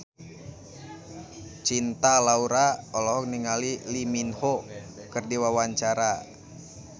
Cinta Laura olohok ningali Lee Min Ho keur diwawancara